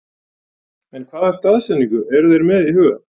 En hvaða staðsetningu eru þeir með í huga?